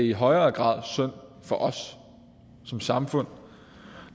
i højere grad synd for os som samfund